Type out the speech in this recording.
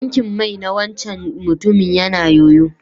Tankin mai na wancan mutumin ya na yoyo.